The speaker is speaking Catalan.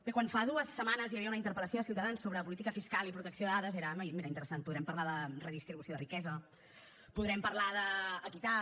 bé quan fa dues setmanes hi havia una interpel·lació a ciutadans sobre política fiscal i protecció de dades era ah mira interessant podrem parlar de redistribució de riquesa podrem parlar d’equitat